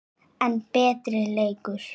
enn betri leikur.